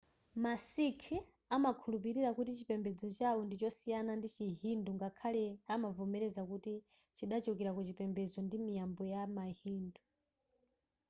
ma sikh amakhulupilira kuti chipembedzo chawo ndichosiyana ndi chi hindu ngakhale amavomereza kuti chidachokera kuchipembedzo ndi miyambo ya ma hindu